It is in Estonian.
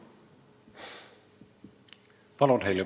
Heljo Pikhof, palun!